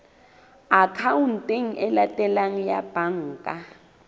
akhaonteng e latelang ya banka